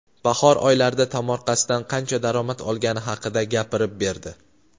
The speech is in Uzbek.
bahor oylarida tomorqasidan qancha daromad olgani haqida gapirib berdi.